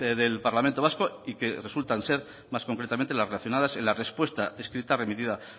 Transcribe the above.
del parlamento vasco y que resultan ser más concretamente las relacionadas en la respuesta escrita remitida